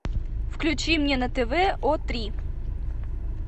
включи мне на тв о три